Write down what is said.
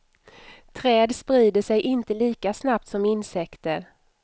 Träd sprider sig inte lika snabbt som insekter.